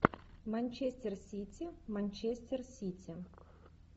манчестер сити манчестер сити